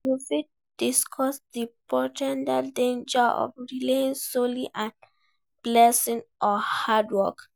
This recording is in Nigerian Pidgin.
You fit discuss di po ten tial dangers of relying solely on blessing or hard work.